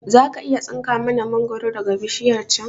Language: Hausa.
Zaka iya tsinka mana mangoro daga bishiyar can